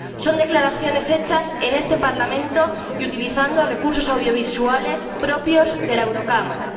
Son declaraciones hechas en este Parlamento, utilizando recursos audiovisuales propios de la Eurocámara.